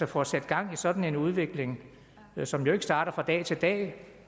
få sat gang i sådan en udvikling som jo ikke starter fra dag til dag